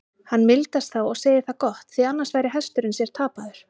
Hann mildast þá og segir það gott, því annars væri hesturinn sér tapaður.